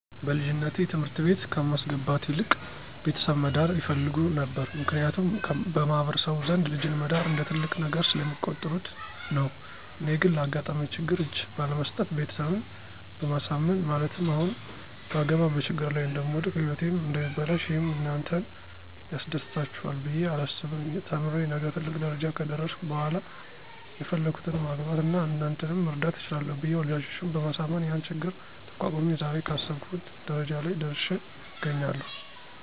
በልጅነቴ ትምህርት ቤት ከማስገባት ይልቅ ቤተሰብ መዳር ይፈልጉ ነበር ምክንያቱም በማህበረሰቡ ዘንድ ልጅን መዳር እንደ ትልቅ ነገር ስለሚቆጥሩት ነው። እኔ ግን ላጋጠመኝ ችግር እጅ ባለመስጠት ቤተሰብን በማሳመን ማለትም አሁን ባገባ በችግር ላይ እደምወድቅ ህይወቴም እደሚበላሽ ይህም እናንተን ያስደስታችሇል ብየ አላስብም ተምሬ ነገ ትልቅ ደረጃ ከደረስሁ በሇላ የፈለግሁትን ማግባት አና እናንተንም መርዳት እችላለሁ ብየ ወላጆቸን በማሳመን ያን ችግር ተቋቁሜ ዛሬ ካሰብሁት ደረጃ ላይ ደርሽ አገኛለሁ።